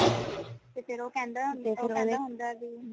ਤੇ ਫੇਰ ਉਹ ਕੇਂਦਾ ਉਹ ਕੇਂਦਾ ਹੋਂਦਾ